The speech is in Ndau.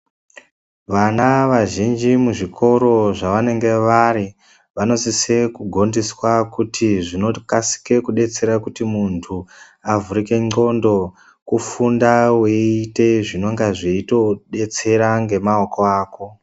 Vana vazhinji muzvikoro zvavanenga vari vanosise kugondiswa kuti zvinokasike kudetsera kuti muntu avhurike ndxondo kufunda weiite zvinonga zveitodetsera ngemaoko ako.